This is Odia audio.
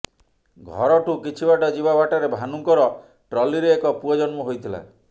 ଘରଠୁ କିଛିବାଟ ଯିବା ବାଟରେ ଭାନୁଙ୍କର ଟ୍ରଲିରେ ଏକ ପୁଅ ଜନ୍ମ ହୋଇଥିଲା